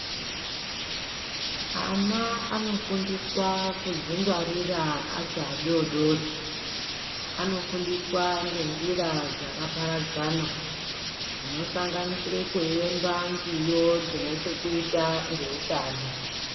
Ana anofundiswa kudzingwarira achiri adodori. Anofundiswa ngenjira dzakaparadzana dzinosanganisire kuyemba nziyo dzinechekuita ngeutano.